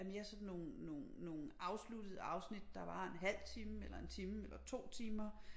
Er mere sådan nogle nogle nogle afsluttede afsnit der varer en halv time eller 1 time eller 2 timer